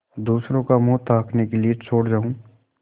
दूसरों का मुँह ताकने के लिए छोड़ जाऊँ